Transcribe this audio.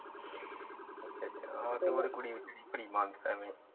ਆਹ ਤੇ ਹੋਰ ਕੁੜੀ ਵੀ ਕਿਹੜੀ .